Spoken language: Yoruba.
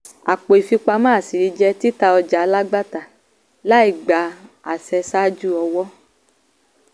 àpò ìfipamọ́ àṣírí jẹ́ títa ọjà alágbàtà láìgba àṣẹ ṣáájú ọ̀wọ́.